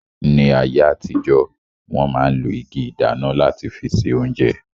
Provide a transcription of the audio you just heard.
Ní ayé àtijọ́, wọ́n ma ń lo igi ìdáná láti fi se oúnjẹ